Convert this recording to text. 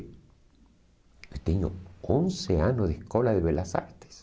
Eu tenho onze anos de escola de belas artes.